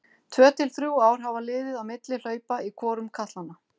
Tvö til þrjú ár hafa liðið á milli hlaupa í hvorum katlanna.